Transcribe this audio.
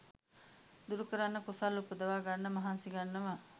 දුරුකරන්න කුසල් උපදවා ගන්න මහන්සි ගන්නවා